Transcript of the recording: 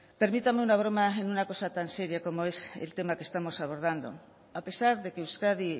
permítame una broma en una cosa tan seria como es el tema que estamos abordando a pesar de que euskadi